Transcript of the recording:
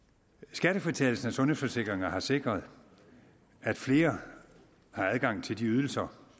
skattefritagelsen af sundhedsforsikringer har sikret at flere har adgang til de ydelser